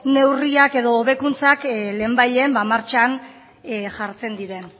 neurriak edo hobekuntzak lehenbailehen ba martxan jartzen diren